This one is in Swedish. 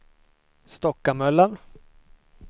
Stockamöllan